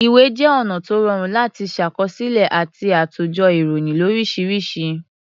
Ìwé jẹ́ ọ̀nà tó rọrùn láti ṣàkọsílẹ̀ àti àtòjọ ìròyìn lóríṣiríṣi.